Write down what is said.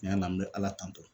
Tiɲɛ na n be ala tanto